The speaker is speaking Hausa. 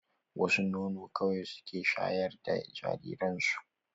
Wasu nono kawai suke shayar da jariran su.